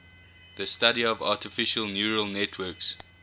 the study of artificial neural networks